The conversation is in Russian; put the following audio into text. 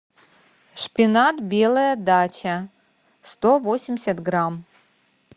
шпинат белая дача сто восемьдесят грамм